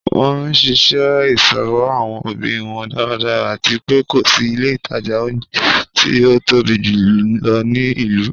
Wọn nṣiṣẹ iṣowo awọn obi wọn daradara, ati pé ko si ilẹ̀ itaja ọ̀unjẹ̀ ti o tobi júlọ̀ ni ilu.